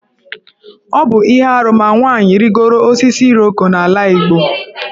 Ọ bụ ihe arụ ma nwaanyị rịgoro osisi Iroko n'ala Igbo.